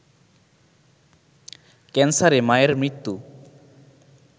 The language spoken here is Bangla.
ক্যান্সারে মায়ের মৃত্যু